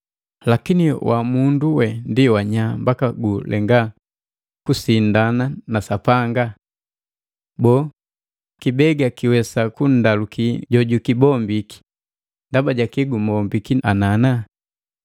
Lakini, wamundu we ndi wanya mbaka gulenga kusindana na Sapanga? Boo kibega kiwesa kunndaluki jojukibombiki, “Ndaba jaki gumombiki anana.”